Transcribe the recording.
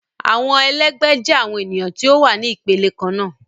Awọn ẹlẹgbẹ jẹ awon eniyan ti o wa ni ipele kanna